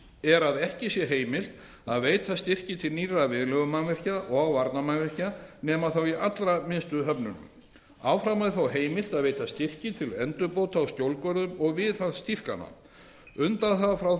er að ekki sé heimilt að veita styrki til nýrra viðlegumannvirkja og varnarmannvirkja nema þá í allra minnstu höfnunum áfram er þó heimilt að veita styrki til endurbóta á skjólgörðum og viðhaldsdýpkana undanþága frá